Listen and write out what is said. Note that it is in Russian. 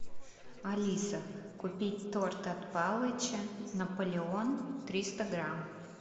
алиса купить торт от палыча наполеон триста грамм